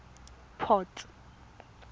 port